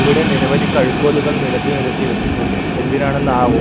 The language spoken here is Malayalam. ഇവിടെ നിരവധി കഴുക്കോലുകൾ നിരത്തി നിരത്തി വെച്ചിട്ടുണ്ട് എന്തിനാണെന്ന് ആവോ--